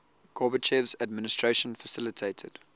gorbachev's administration facilitated